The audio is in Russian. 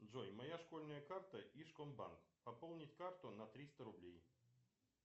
джой моя школьная карта ижкомбанк пополнить карту на триста рублей